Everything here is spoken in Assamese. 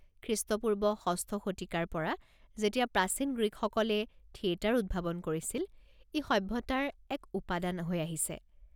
খ্ৰীষ্টপূৰ্ব ৬ষ্ঠ শতিকাৰ পৰা, যেতিয়া প্ৰাচীন গ্ৰীকসকলে থিয়েটাৰ উদ্ভাৱন কৰিছিল, ই সভ্যতাৰ এক উপাদান হৈ আহিছে।